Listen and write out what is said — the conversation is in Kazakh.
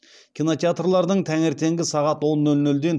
кинотеатрлардың таңертеңгі сағат он нөл нөлден